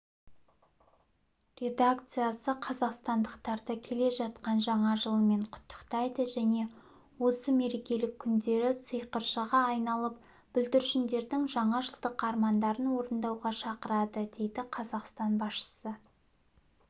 редакциясы қазақстандықтарды келе жатқан жаңа жылмен құттықтайды және осы мерекелік күндері сиқыршыға айналып бүлдіршіндердің жаңажылдық армандарын орындауға шақырады дейді қазақстан басшысы